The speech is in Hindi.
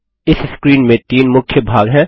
इस स्क्रीन में तीन मुख्य भाग हैं